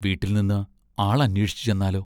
വീട്ടിൽ നിന്ന് ആൾ അന്വേഷിച്ചു ചെന്നാലോ?